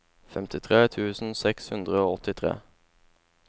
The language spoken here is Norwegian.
femtitre tusen seks hundre og åttitre